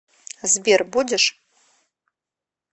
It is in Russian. сбер будешь